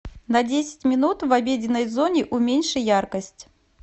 на десять минут в обеденной зоне уменьши яркость